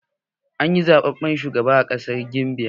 An yi zaɓaɓɓen shugaban kasa a ƙasar Gambiya